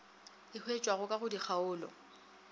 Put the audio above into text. e hwetšwago ka go dikgaolo